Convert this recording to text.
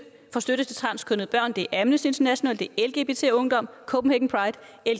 støtte til transkønnede børn det er amnesty international det er lgbt ungdom